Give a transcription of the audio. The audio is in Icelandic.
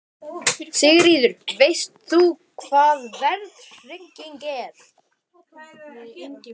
Sigríður: Veist þú hvað verðtrygging er?